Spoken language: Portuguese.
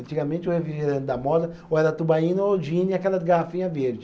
Antigamente o refrigerante da moda ou era tubaína ou gin e aquelas garrafinha verde.